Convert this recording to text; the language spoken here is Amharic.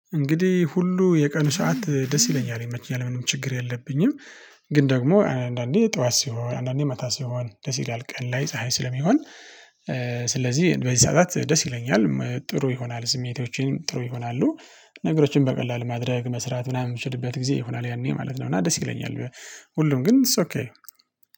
እንግዲህ ሁሉ የቀኑ ሰዓት ደስ ይለኛል ይመቸኛል ምንም ችግር የለብኝም። ግን ደግሞ አንዳንዴ ጠዋት ሲሆን አንዳንዴ ማታ ሲሆን ደስ ይላል ቀን ላይ ፀሀይ ስለሚሆን። ስለዚህ በዝናናት ደስ ይለኛል ጥሩ ይሆናል ስሜቶቼን ጥሩ ይሆናሉ። ነገሮችን በቀላሉ ማድረግ መስራት ምናምን የምችልበት ጊዜ ይሆናል ያኔ ማለት ነው። እና ደስ ይለኛል። ሁሉም ግን ኢትስ ኦኬ